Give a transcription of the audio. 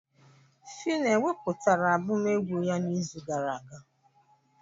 Fino ewepụtara abụm egwu ya n'izu gara aga?